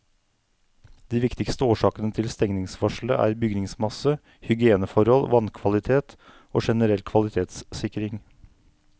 De viktigste årsakene til stengningsvarselet er bygningsmasse, hygieneforhold, vannkvalitet og generell kvalitetssikring.